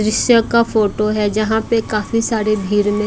दृश्य का फोटो है जहां पे काफी सारे भीड़ में--